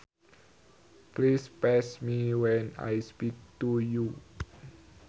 Please face me when I speak to you